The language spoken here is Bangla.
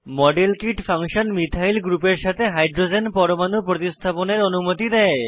model kit function methyl methyl গ্রুপের সাথে হাইড্রোজেন পরমাণু প্রতিস্থাপনের অনুমতি দেয়